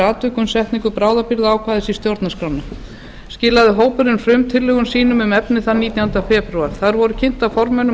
atvikum setningu bráðabirgðaákvæðis í stjórnarskrá skilaði hópurinn frumtillögum sínum um efnið þann nítjánda febrúar þær voru kynntar formönnum